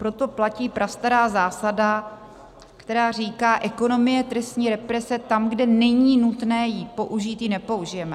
Proto platí prastará zásada, která říká, ekonomie trestní represe - tam, kde není nutné ji použít, ji nepoužijeme.